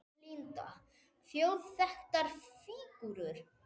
Linda: Þjóðþekktar fígúrur?